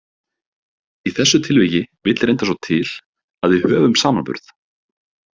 Í þessu tilviki vill reyndar svo til, að við höfum samanburð.